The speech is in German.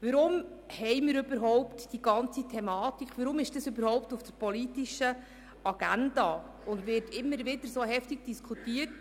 Warum steht die Thematik überhaupt auf der politischen Agenda und wird immer wieder so heftig diskutiert?